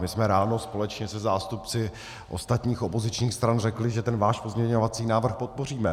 My jsme ráno společně se zástupci ostatních opozičních stran řekli, že ten váš pozměňovací návrh podpoříme.